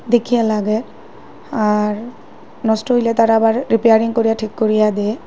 দেখিয়া লাগে আর নষ্ট হইলে তারা আবার রিপেয়ারিং করিয়া ঠিক করিয়া দেয়।